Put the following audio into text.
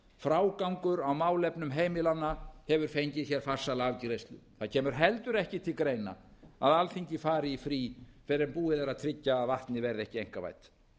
frágangur á málefnum heimilanna hefur fengið hér farsæla afgreiðslu það kemur heldur ekki til greina að alþingi fari í frí fyrr en búið er að tryggja að vatnið verði ekki einkavætt hver er nú